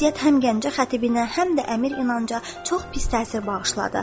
Bu vəziyyət həm Gəncə xətibinə, həm də əmir İnanca çox pis təsir bağışladı.